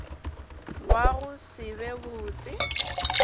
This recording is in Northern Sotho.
wa go se be botse